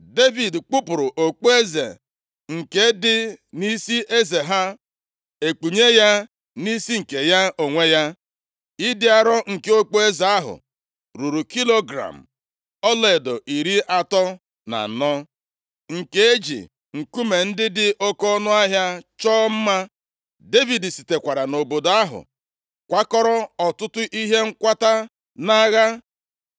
Devid kpupuru okpueze nke dị nʼisi eze ha, e kpunye ya nʼisi nke ya onwe ya. Ịdị arọ nke okpueze ahụ ruru kilogram ọlaedo iri atọ na anọ, nke e ji nkume ndị dị oke ọnụahịa chọọ mma. Devid sitekwara nʼobodo ahụ kwakọrọ ọtụtụ ihe nkwata nʼagha.